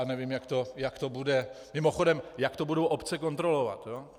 A nevím, jak to bude - mimochodem jak to budou obce kontrolovat?